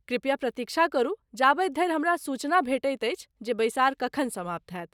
कृपया प्रतीक्षा करू जाबति धरि हमरा सूचना भेटति अछि जे बैसार कखन समाप्त होयत।